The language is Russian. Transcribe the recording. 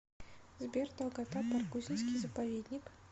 сбер долгота баргузинский заповедник